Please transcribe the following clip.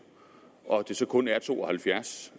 og at det så kun er to og halvfjerds